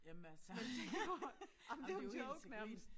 Jamen altså jamen det jo helt tril grin